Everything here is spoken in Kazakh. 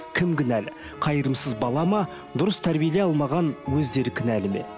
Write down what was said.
кім кінәлі қайырымсыз бала ма дұрыс тәрбиелей алмаған өздері кінәлі ме